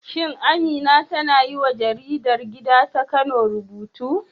Shin Amina tana yiwa jaridar gida ta Kano rubutu?